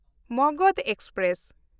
Magadh express